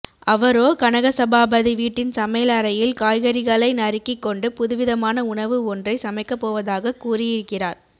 அவரோ கனகசபாபதி வீட்டின் சமையல் அறையில் காய்கறிகளை நறுக்கிக் கொண்டு புதுவிதமான உணவு ஒன்றை சமைக்கப்போவதாகக் கூறியிருக்கிறார்